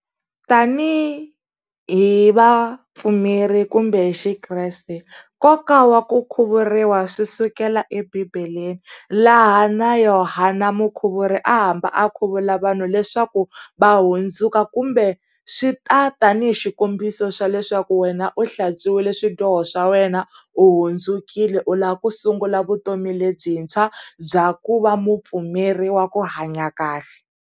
Tanihi vapfumeri kumbe Xikreste nkoka wa ku khuvuriwa swi sukela ebibeleni, laha na Yohana mukhuvuri a hamba a khuvula vanhu leswaku va hundzuka, kumbe swi ta tanihi xikombiso xa leswaku wena u hlantswiwile swidyoho swa wena u hundzukile u lava ku sungula vutomi lebyintshwa, bya ku va mupfumeri wa ku hanya kahle.